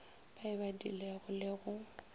ba e badilego le go